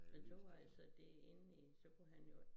Jeg tror altså det inden i så kunne han jo